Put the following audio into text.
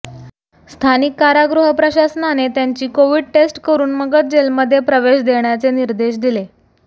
स्थानिक कारागृह प्रशासनाने त्यांची कोविड टेस्ट करून मगच जेलमध्ये प्रवेश देण्याचे निर्देश दिले